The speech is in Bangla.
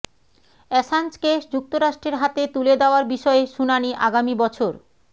অ্যাসাঞ্জকে যুক্তরাষ্ট্রের হাতে তুলে দেয়ার বিষয়ে শুনানি আগামী বছর